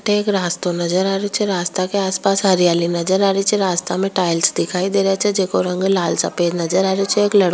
एक रास्तो नजर आ रहे छे रास्तो के आस पास हरियाली नजर आ रही छे रास्ता में टाइल्स दिखाई दे रा छे जेको रंग लाल सफ़ेद आरो छ एक लड़कों --